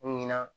Ɲinan